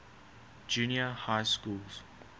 junior high schools